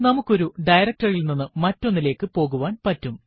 നമുക്ക് ഒരു directory യിൽ നിന്നും മറ്റൊന്നിലേക്കു പോകുവാൻ പറ്റും